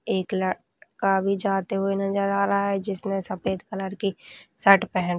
एक लड़का अभी जाते हुए नजर आ रहा है जिसने सफेद कलर की शर्ट पहन --